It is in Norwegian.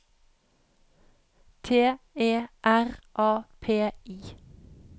T E R A P I